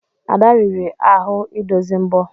Ada riri ahụ idozi mbo.